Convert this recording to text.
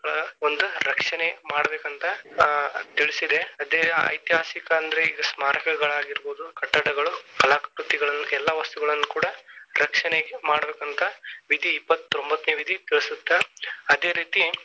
ಸ್ಮಾರಕಗಳ ಒಂದ ರಕ್ಷಣೆ ಮಾಡಬೇಕಂತ ಆ ತಿಳಿಸಿದೆ, ಅದೆ ಐತಿಹಾಸಿಕ ಅಂದ್ರೆ ಈಗ ಸ್ಮಾರಕಗಳಾಗಿರಬಹುದು ಕಟ್ಟಡಗಳು ಕಲಾ ಕೃತಿಗಳು ಎಲ್ಲಾ ವಸ್ತುಗಳನ್ನ ಕೂಡ ರಕ್ಷಣೆ ಮಾಡ್ಬೇಕಂತ ವಿಧಿ ಇಪ್ಪತ್ತೊಂಬತ್ತನೆೇ ವಿಧಿ ತಿಳಸತ್ತ ಅದೇ ರೀತಿ.